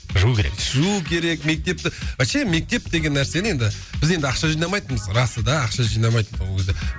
жуу керек жуу керек мектепті вообще мектеп деген нәрсені енді біз енді ақша жинамайтынбыз расы да ақша жинамайтын ол кезде